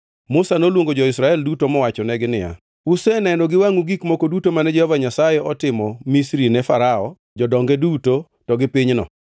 Musa noluongo jo-Israel duto mowachonegi niya, Useneno gi wangʼu gik moko duto mane Jehova Nyasaye otimo Misri ne Farao, jodonge duto, to gi pinyno.